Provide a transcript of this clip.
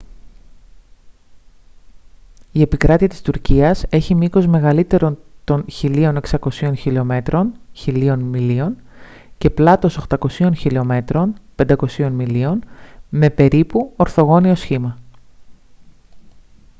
η επικράτεια της τουρκίας έχει μήκος μεγαλύτερο των 1.600 χιλιομέτρων 1.000 μιλίων και πλάτος 800 χιλιομέτρων 500 μιλίων με περίπου ορθογώνιο σχήμα